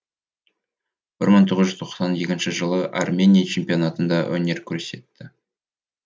бір мың тоғыз жүз тоқсан екінші жылы армения чемпионатында өнер көрсетті